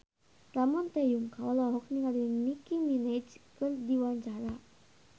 Ramon T. Yungka olohok ningali Nicky Minaj keur diwawancara